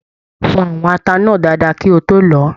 Fọ àwọn ata náà dáadáa kí o to lọ ọ!